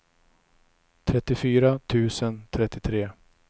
trettiofyra tusen trettiotre